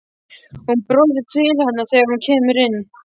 Hún brosir til hennar þegar hún kemur inn.